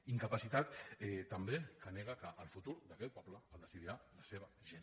incapacitat també que nega que el futur d’aquest poble el decidirà la seva gent